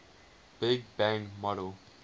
big bang model